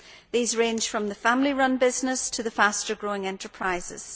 These range from the family run businesses to the faster growing enterprises.